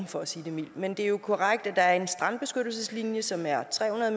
for at sige det mildt men det er jo korrekt at der er en strandbeskyttelseslinje som er tre hundrede